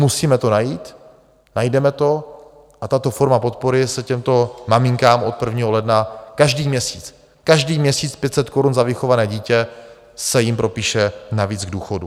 Musíme to najít, najdeme to a tato forma podpory se těmto maminkám od 1. ledna každý měsíc, každý měsíc 500 korun za vychované dítě, se jim propíše navíc k důchodu.